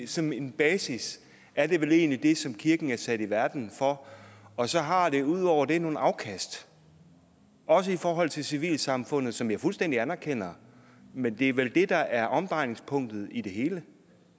som en basis er det vel egentlig det som kirken er sat i verden for og så har det ud over det nogle afkast også i forhold til civilsamfundet som jeg fuldstændig anerkender men det er vel det der er omdrejningspunktet i det hele